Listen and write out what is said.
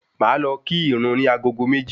Mo máa lọ kí ìrun ní agogo méjì